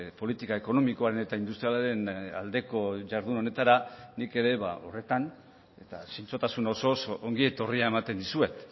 politika ekonomikoaren eta industrialaren aldeko jardun honetara nik ere horretan eta zintzotasun osoz ongi etorria ematen dizuet